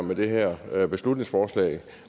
med det her beslutningsforslag